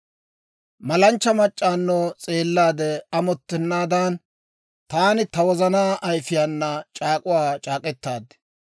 «Malanchcha mac'c'awunno s'eellaade amottennaadan, taani ta wozanaa ayifiyaana c'aak'uwaa c'aak'k'etaad.